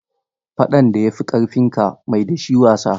Faɗan da ya fi ƙarfinka, mai da shi wasa.